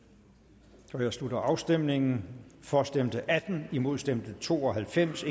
der jeg slutter afstemningen for stemte atten imod stemte to og halvfems